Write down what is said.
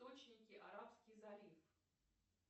арабский залив